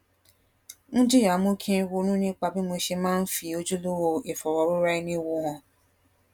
ń jìyà mú kí n ronú nípa bí mo ṣe máa ń fi ojúlówó ìfòròroraẹniwò hàn